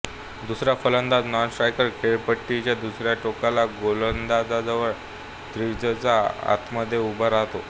दुसरा फलंदाज नॉनस्ट्रायकर खेळपट्टीच्या दुसऱ्या टोकाला गोलंदाजाजवळ क्रीजच्या आतमध्ये उभा राहतो